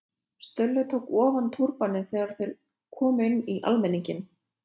Stulli tók ofan túrbaninn þegar þeir komu inn í almenninginn.